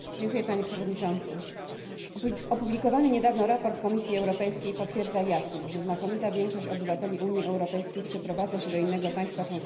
Opublikowany niedawno raport Komisji Europejskiej potwierdza jasno, że znakomita większość obywateli Unii Europejskiej przeprowadza się do innego państwa członkowskiego głównie w celu podjęcia pracy.